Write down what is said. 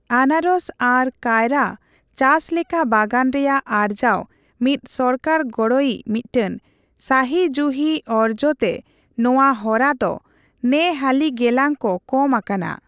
ᱟᱱᱟᱨᱚᱥ ᱟᱨ ᱠᱟᱭᱨᱟ ᱪᱟᱥ ᱞᱮᱠᱟ ᱵᱟᱜᱟᱱ ᱨᱮᱭᱟᱜ ᱟᱨᱡᱟᱣ ᱢᱤᱫ ᱥᱚᱠᱟᱨ ᱜᱚᱲᱚᱤᱪ ᱢᱤᱫᱴᱟᱝ ᱥᱟᱹᱦᱤ ᱡᱩᱦᱤ ᱚᱨᱡᱚᱛᱮ ᱱᱚᱣᱟ ᱦᱚᱨᱟ ᱫᱚ ᱱᱮ ᱦᱟᱹᱞᱤ ᱜᱮᱞᱟᱝ ᱠᱚ ᱠᱚᱢ ᱟᱠᱟᱱᱟ᱾